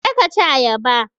Je ka ci ayaba!